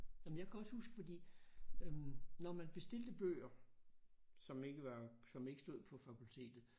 Nåh men jeg kan også huske fordi øh når man bestilte bøger som ikke var som ikke stod på fakultetet